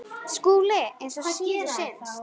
SKÚLI: Eins og yður sýnist.